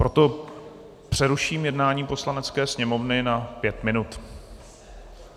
Proto přeruším jednání Poslanecké sněmovny na pět minut.